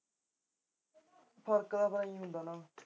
ਫਰਕ ਤਾਂ ਬਾਈ ਹੁੰਦਾ ਨਾ